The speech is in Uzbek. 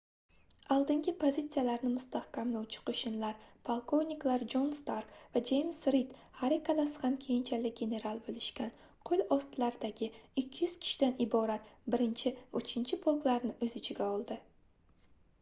oldingi pozitsiyalarni mustahkamlovchi qo'shinlar polkovniklar jon stark va jeyms rid har ikkalasi ham keyinchalik general bo'lishgan qo'l ostilaridagi 200 kishidan iborat 1 va 3-polklarni o'z ichiga oldi